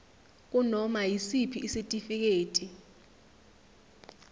kunoma yisiphi isitifiketi